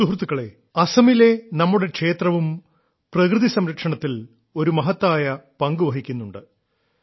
സുഹൃത്തുക്കളേ അസമിലെ നമ്മുടെ ക്ഷേത്രവും പ്രകൃതിസംരക്ഷണത്തിൽ ഒരു മഹത്തായ പങ്കുവഹിക്കുന്നുണ്ട്